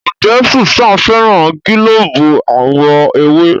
Njé Susan féràn gilobu àwo ewé?